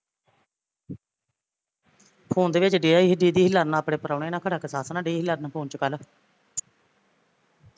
phone ਦੇ ਵਿੱਚ ਡਇਆ ਸੀ ਸੀ ਲੜਨ ਆਪਣੇ ਪਰਉਣੇ ਨਾਲ਼ ਖਰਾ ਕਿ ਸੱਸ ਨਾਲ਼ ਡਈ ਸੀ ਲੜਨ phone ਚ ਕੱਲ